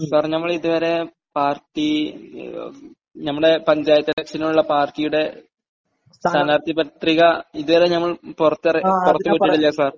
Sir, നമ്മൾ ഇത് വരെ പാർട്ടി...നമ്മടെ പഞ്ചായത്ത് ഇലക്ഷനുള്ള പാർട്ടിയുടെ സ്ഥാനാർഥി പത്രിക ഇത് വരെ നമ്മൾ പുറത്ത് വിട്ടിട്ടില്ല സർ.